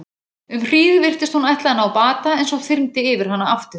Um hríð virtist hún ætla að ná bata en svo þyrmdi yfir hana aftur.